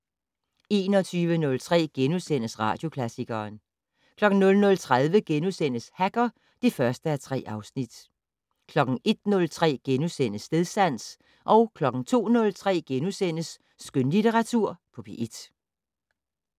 21:03: Radioklassikeren * 00:30: Hacker (1:3)* 01:03: Stedsans * 02:03: Skønlitteratur på P1 *